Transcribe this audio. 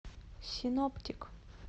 синоптик